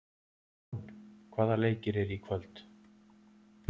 Von, hvaða leikir eru í kvöld?